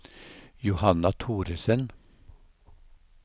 Johanna Thoresen